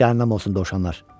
Cəhənnəm olsun dovşanlar.